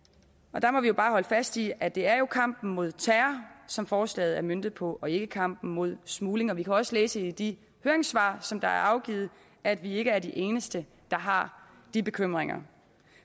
og der må vi bare holde fast i at det jo er kampen mod terror som forslaget er møntet på og ikke kampen mod smugling vi kan også læse i de høringssvar som er afgivet at vi ikke er de eneste der har de bekymringer